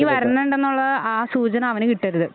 നീ വരുന്നൊണ്ട് എന്നുള്ള ആ സൂചന അവന് കിട്ടരുത്.